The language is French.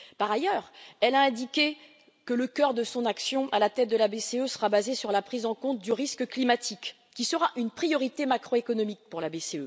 Par ailleurs, elle a indiqué que le cœur de son action à la tête de la BCE serait basé sur la prise en compte du risque climatique, qui sera une priorité macro économique pour la BCE.